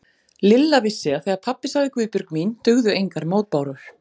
Lilla vissi að þegar pabbi sagði Guðbjörg mín dugðu engar mótbárur.